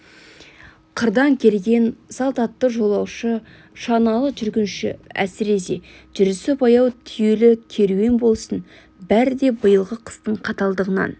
қырдан келген салт атты жолаушы шаналы жүргінші әсіресе жүрісі баяу түйелі керуен болсын бәрі де биылғы қыстың қаталдығынан